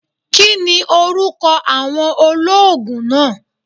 Kini oruko awon oloogun naa?